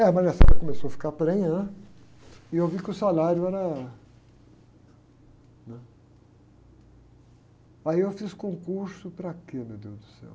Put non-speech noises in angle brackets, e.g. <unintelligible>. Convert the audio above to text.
Aí a <unintelligible> começou a ficar prenha, né? A aí e eu vi que o salário era, né? Aí eu fiz concurso para quê, meu deus do céu?